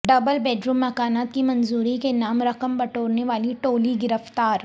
double bedroom مکانات کی منظوری کے نام رقم بٹورنے والی ٹولی گرفتار